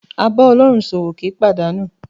A bá Ọlọ́run ṣòwò kì í pàdánù.